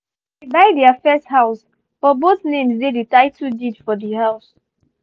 she buy their first house but both names dey the title deed for the house